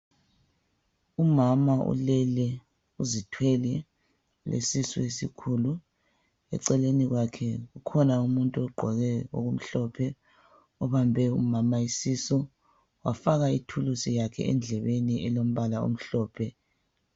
Umama ulele uzithwele ulesisu esikhulu eceleni kwakhe kukhona umuntu ogqoke okumhlophe ubambe umama isisu wafaka ithuluzi yakhe endlebeni elombala omhlophe.